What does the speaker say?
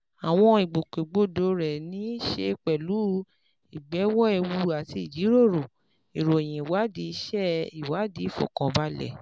Àwọn ìgbòkègbodò rẹ̀ ní í ṣe pẹ̀lú ìgbéwò ewu àti ìjíròrò, ìròyìn ìwádìí, iṣẹ́ ìwádìí, ìfọ̀kànbalẹ̀